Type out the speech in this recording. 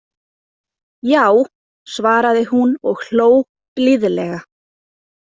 Já, svaraði hún og hló blíðlega.